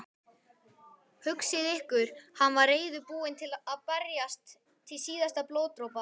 Hugsið ykkur, hann var reiðubúinn að berjast til síðasta blóðdropa.